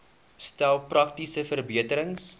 stel praktiese verbeterings